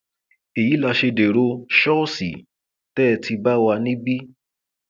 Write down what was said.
èyí la ṣe dèrò ṣọọṣì tẹ ẹ ti bá wa níbí